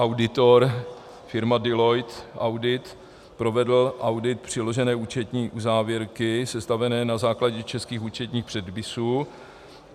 Auditor, firma Deloitte Audit, provedl audit přiložené účetní uzávěrky sestavené na základě českých účetních předpisů.